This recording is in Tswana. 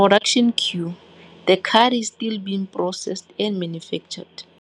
Production queue, The card is still being processed and manufactured.